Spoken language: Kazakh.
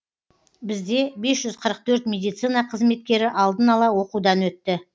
бізде бес жүз қырық төрт медицина қызметкері алдын ала оқудан өтті